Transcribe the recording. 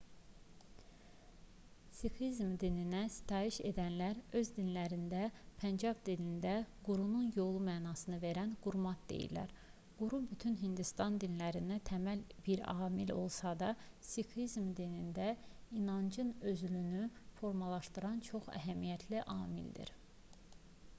siqhizm dininə sitayiş edənlər öz dinlərinə pəncab dilində qurunun yolu mənasını verən qurmat deyirlər quru bütün hindistan dinlərində təməl bir amil olsa da siqhizm dinində inancın özülünü formalaşdıran çox əhəmiyyətli amildir